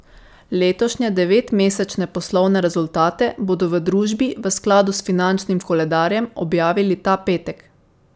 Letošnje devetmesečne poslovne rezultate bodo v družbi v skladu s finančnim koledarjem objavili ta petek.